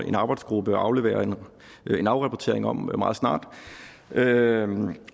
en arbejdsgruppe afleverer en en afrapportering om meget snart derfor